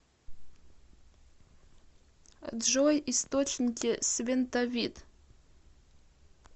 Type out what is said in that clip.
джой источники свентовит